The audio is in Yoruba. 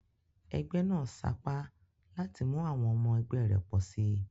Egbé nàá sapá láti mú àwon omo egbé rè pòsi